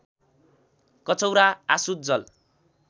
कचौरा आसुत जल